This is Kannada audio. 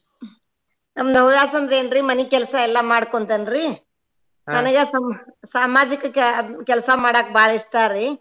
ನಮ್ದ್ ಹವ್ಯಾಸ ಅಂದ್ರ ಏನ್ರೀ ಮನಿ ಕೆಲ್ಸಾ ಎಲ್ಲಾ ಮಾಡಕೊಂತೆನ್ರೀ ನನ್ಗ ಸಾಮಾಜಿಕ ಕೆ~ ಕೆಲ್ಸಾ ಮಾಡಾಕ್ ಬಾಳ ಇಷ್ಟಾರಿ.